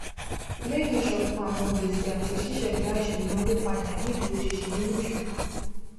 lẹyìn iṣọkan àwọn gbèsè àti ṣiṣẹda ìṣúná ó padà ní ìdúróṣinṣin nínú ìṣúná